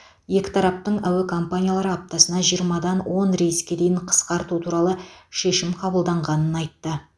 екі тараптың әуе акомпаниялары аптасына жиырмадан он рейске дейін қысқарту туралы шешім қабылданғанын айтты